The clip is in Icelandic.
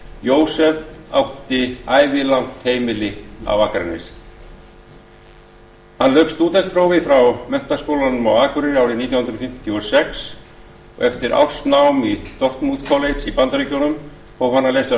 jósef átti ævilangt heimili á akranesi hann lauk stúdentsprófi frá menntaskólanum á akureyri árið nítján hundruð fimmtíu og sex og eftir ársnám í dartmouth college í bandaríkjunum hóf hann að lesa